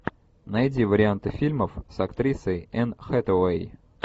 найди варианты фильмов с актрисой энн хэтэуэй